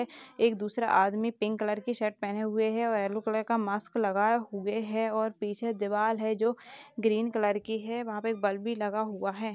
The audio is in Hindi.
एक दूसरा आदमी पिंक कलर की शर्ट पहने हुए हैं और यलो कलर का मास्क लगाए हुए हैं और पीछे दीवार हैं जो ग्रीन कलर की हैं वहाँ पे बल्ब भी लगा हुआ हैं।